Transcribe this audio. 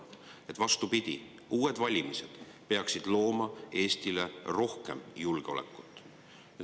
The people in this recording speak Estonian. Vastupidi, uued valimised peaksid looma Eestile rohkem julgeolekut.